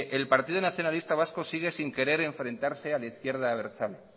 el partido nacionalista vasco sigue sin querer enfrentarse a la izquierda abertzale